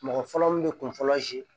Mɔgɔ fɔlɔ min bɛ kun fɔlɔ